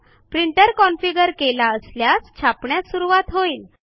printer configure केलेला असल्यास छापण्यास सुरूवात होईल